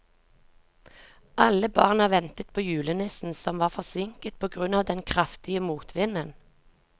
Alle barna ventet på julenissen, som var forsinket på grunn av den kraftige motvinden.